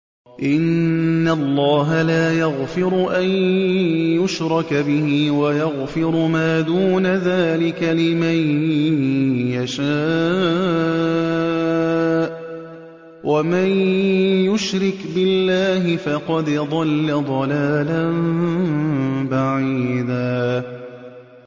إِنَّ اللَّهَ لَا يَغْفِرُ أَن يُشْرَكَ بِهِ وَيَغْفِرُ مَا دُونَ ذَٰلِكَ لِمَن يَشَاءُ ۚ وَمَن يُشْرِكْ بِاللَّهِ فَقَدْ ضَلَّ ضَلَالًا بَعِيدًا